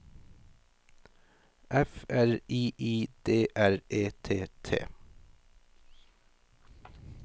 F R I I D R E T T